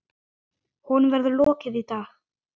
Honum verður lokið í dag.